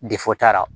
Defɔ t'a la